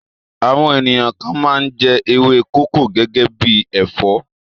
Àwọn ènìyàn kan máa ń jẹ ewé kókò gẹ́gẹ́ bí ẹ̀fọ́.